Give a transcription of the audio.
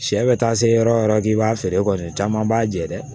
Sɛ bɛ taa se yɔrɔ o yɔrɔ k'i b'a feere kɔni caman b'a jɛ dɛ